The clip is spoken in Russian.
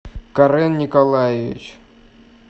карен николаевич